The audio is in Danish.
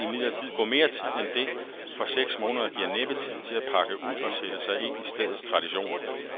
Der vil imidlertid gå mere tid end det, for seks måneder giver næppe tid til at pakke ud og sætte sig ind i stedets traditioner.